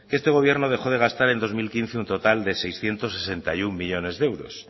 que este gobierno dejó de gastar en dos mil quince un total de seiscientos sesenta y uno millónes de euros